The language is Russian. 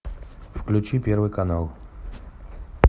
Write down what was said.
включи первый канал